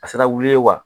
A sera wuli ye wa